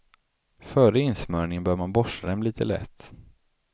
Före insmörjningen bör man borsta dem lite lätt.